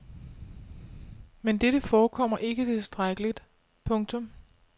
Men dette forekommer ikke tilstrækkeligt. punktum